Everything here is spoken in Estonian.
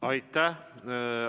Aitäh!